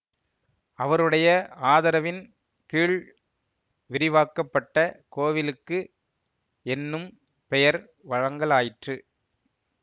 அவருடைய ஆதரவின் கீழ் விரிவாக்க பட்ட கோவிலுக்கு என்னும் பெயர் வழங்கலாயிற்று